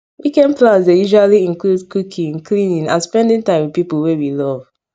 weekend plans dey usually include cooking cleaning and spending time with pipul wey we love